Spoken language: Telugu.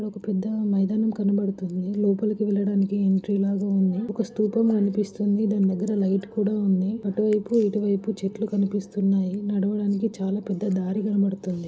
ఇక్కడ ఒక పెద్ద మైదానం కనపడుతుంది . లోపలకి వెళ్ళడానికి ఒక ఎంట్రీ లా గా ఉంది. ఒక సుతుపము కనిపిస్తుంది. దాని దెగరా ఒక లైట్ కూడ ఉంది .అటువైపు ఇటువైపు చెట్లు కనిపిస్తునాయి. నడవడానికి పెద్ద దారి కనపడ్తుంది.